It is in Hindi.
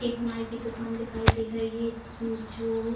एक नाई की दुकान दिखाई दे रही है जो --